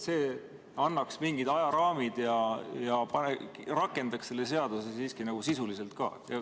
See annaks mingid ajaraamid ja rakendaks selle seaduse siiski sisuliselt ka.